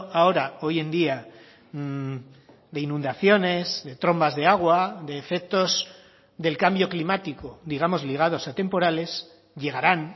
ahora hoy en día de inundaciones de trombas de agua de efectos del cambio climático digamos ligados a temporales llegarán